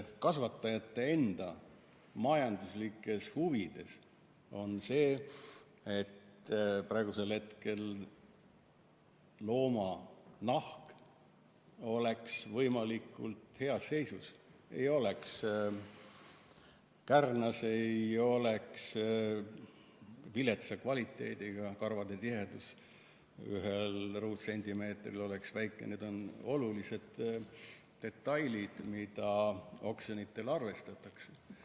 Kasvatajate enda majanduslikes huvides on see, et looma nahk oleks võimalikult heas seisus, ei oleks kärnas, ei oleks viletsa kvaliteediga, nii et karvade tihedus ühel ruutsentimeetril oleks väike – need on olulised detailid, mida oksjonitel arvestatakse.